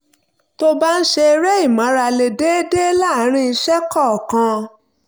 tó o bá ń ṣe eré ìmárale déédéé láàárín iṣẹ́ kọ̀ọ̀kan